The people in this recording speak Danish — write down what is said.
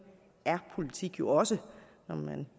er politik jo også